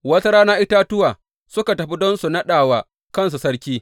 Wata rana itatuwa suka fita don su naɗa wa kansu sarki.